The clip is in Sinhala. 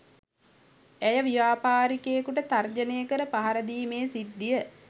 ඇය ව්‍යාපාරිකයෙකුට තර්ජනය කර පහරදීමේ සිද්ධිය